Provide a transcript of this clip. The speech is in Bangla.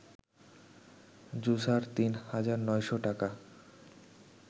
জুসার ৩ হাজার ৯শ’ টাকা